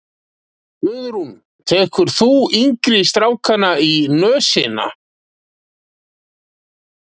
Guðrún: Tekur þú yngri strákana í nösina?